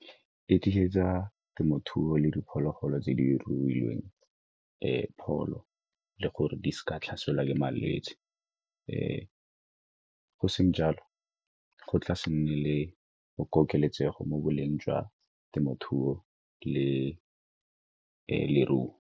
Di tlisetsa temothuo le diphologolo tse di rutilweng, pholo le gore di seka tlhaselwa ke malwetse, go seng jalo go tla se nne le go kokeletsego mo boleng jwa temothuo le leruo.